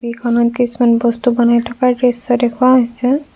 ছবিখনত কিছুমান বস্তু বনাই থকাৰ দৃশ্য দেখুওৱা হৈছে।